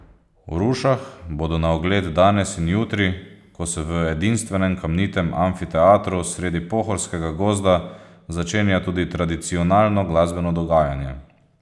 V Rušah bodo na ogled danes in jutri, ko se v edinstvenem kamnitem amfiteatru sredi pohorskega gozda začenja tudi tradicionalno glasbeno dogajanje.